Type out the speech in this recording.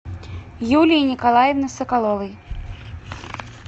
юлии николаевны соколовой